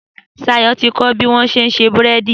Sayọ̀ ti kọ́ bí wọ́n ṣé ń ṣe búrẹ́dì.